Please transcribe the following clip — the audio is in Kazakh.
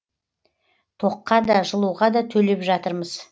тоққа да жылуға да төлеп жатырмыз